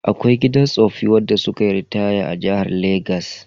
Akwai gidan tsoffi wanda sukayi ritaya a jihar Legas.